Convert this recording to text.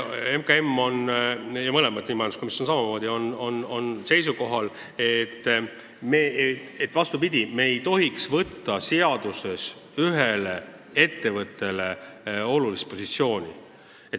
MKM ja ka majanduskomisjon on seisukohal, et me ei tohiks seaduses anda ühele ettevõttele olulist positsiooni.